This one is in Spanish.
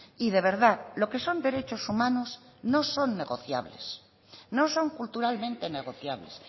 y de verdad lo que son derechos humanos no son negociables no son culturalmente negociables